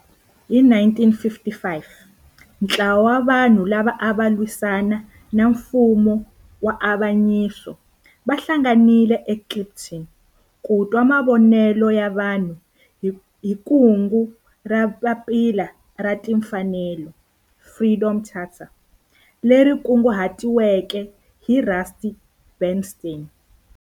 Hi 1955 ntlawa wa vanhu lava ava lwisana na nfumo wa avanyiso va hlanganile eKliptown ku twa mavonelo ya vanhu hi kungu ra Papila ra Tinfanelo, Freedom Charter, leri kunguhatiweke hi Rusty Bernstein.